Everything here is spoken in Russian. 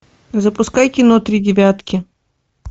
запускай кино три девятки